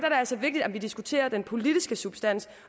altså vigtigt at vi diskuterer den politiske substans